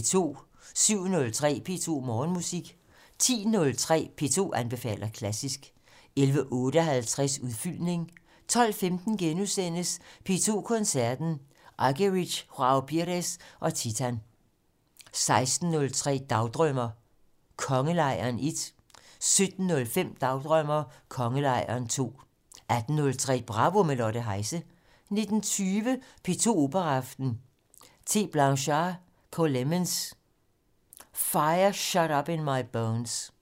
07:03: P2 Morgenmusik 10:03: P2 anbefaler klassisk 11:58: Udfyldning 12:15: P2 Koncerten - Argerich, Joao Pires og Titan * 16:03: Dagdrømmer: Kongelejren 1 17:05: Dagdrømmer: Kongelejren 2 18:03: Bravo - med Lotte Heise 19:20: P2 Operaaften - T. Blanchard/KLemmons: Fire Shut Up in My Bones